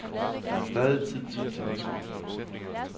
Der er stadig tid til at tænke sig om.